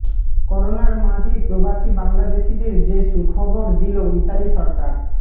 করোনার মাঝেই প্রবাসী বাংলাদেশিদের যে সুখবর দিল ইতালি সরকার